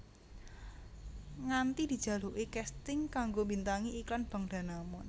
Nganti dijaluki casting kanggo mbintangi iklan Bank Danamon